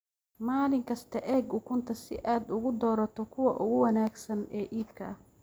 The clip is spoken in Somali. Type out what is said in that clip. Maalin kasta eeg ukunta si aad u doorato kuwa ugu wanaagsan ee iibka ah.